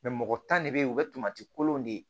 mɔgɔ tan de bɛ yen o bɛ tomati kolon de